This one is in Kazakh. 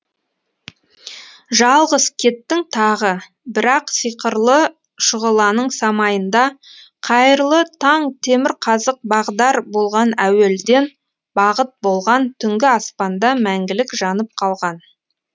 жалғыз кеттің тағы бірақ сиқырлы шұғыланың самайында қайырлы таң темірқазық бағдар болған әуелден бағыт болған түңгі аспанда мәңгілік жанып қалған